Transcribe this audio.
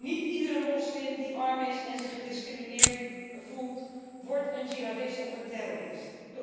Niet iedere moslim die arm is en zich gediscrimineerd voelt, wordt een jihadist of een terrorist.